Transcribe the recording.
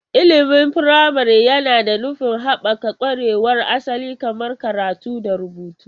Ilimin firamare yana da nufin haɓaka ƙwarewar asali kamar karatu da rubutu.